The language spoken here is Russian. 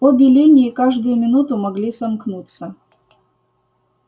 обе линии каждую минуту могли сомкнуться